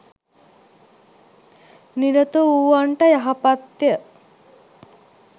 නිරතවූවන්ට යහපත්ය.